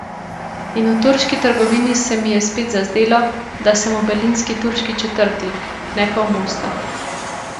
In v turški trgovini se mi je spet zazdelo, da sem v berlinski turški četrti, ne pa v Mostah.